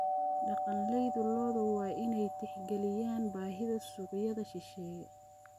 Dhaqanleyda lo'du waa inay tixgeliyaan baahida suuqyada shisheeye.